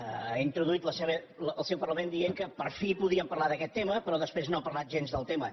ha introduït el seu parlament dient que per fi podíem parlar d’aquest tema però després no ha parlat gens del tema